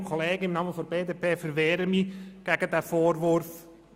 Im Namen der BDP verwehre ich mich gegen diesen Vorwurf.